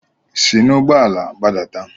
Si n'ụgbọ ala gbadata!